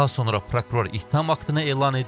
Daha sonra prokuror ittiham aktını elan edib.